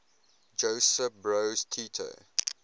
josip broz tito